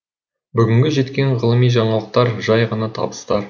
бүгінгі жеткен ғылыми жаңалықтар жай ғана табыстар